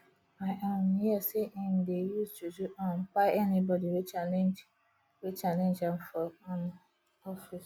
i um hear sey im dey use juju um kpai anybodi wey challenge wey challenge am for um office